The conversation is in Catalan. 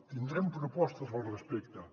tindrem propostes al respecte